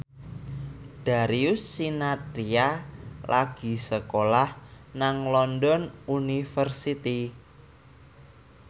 Darius Sinathrya lagi sekolah nang London University